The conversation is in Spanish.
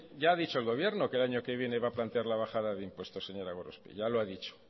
ya ha dicho el gobierno que el año que viene va a plantear la bajada de impuestos señora gorospe ya lo ha dicho